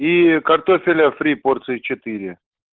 и картофеля фри порции четыре